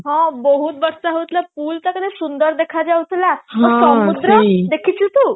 ହଁ ବହୁତ ବର୍ଷ ହଉଥିଲା pool ଟା କେତେ ସୁନ୍ଦର ଦେଖା ଯାଉଥିଲା ଆଉ ସମୁଦ୍ର ଦେଖିଛୁ ତୁ